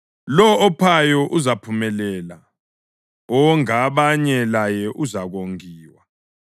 Lowo ophayo uzaphumelela; owonga abanye laye uzakongiwa.